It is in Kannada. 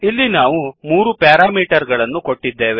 ಇಲ್ಲಿ ನಾವು ಮೂರು ಪ್ಯಾರಾಮೀಟರ್ ಗಳನ್ನು ಕೊಟ್ಟಿದ್ದೇವೆ